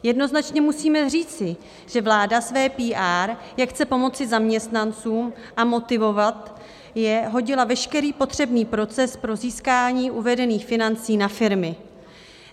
Jednoznačně musíme říci, že vláda své PR, jak chce pomoci zaměstnancům a motivovat je, hodila veškerý potřebný proces pro získání uvedených financí na firmy.